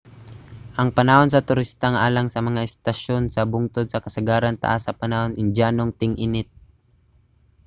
ang panahon sa turista alang sa mga estasyon sa bungtod sa kasagaran taas sa panahon sa indyanong ting-init